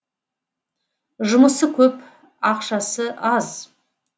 жұмысы көп ақшасы аз